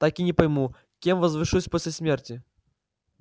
так и не пойму кем возвышусь после смерти